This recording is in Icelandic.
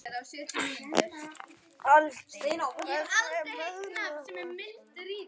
Aldey, hvernig er veðrið á morgun?